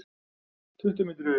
Tuttugu mínútur yfir